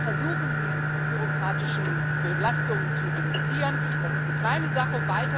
Wir versuchen, die bürokratischen Belastungen zu reduzieren, das ist eine kleine Sache.